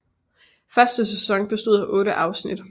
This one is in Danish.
Første sæson bestod af 8 afsnit